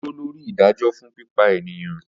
O dúró lóri ìdájọ fún pípa eniyan